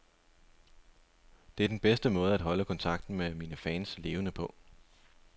Det er den bedste måde at holde kontakten med mine fans levende på.